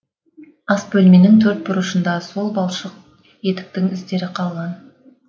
ас бөлменің төрт бұрышында сол балшық етіктің іздері қалған